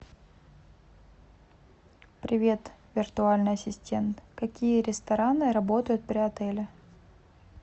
привет виртуальный ассистент какие рестораны работают при отеле